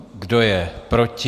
Kdo je proti?